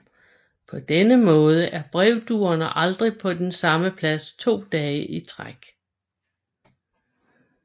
På denne måde er brevduerne aldrig på den samme plads to dage i træk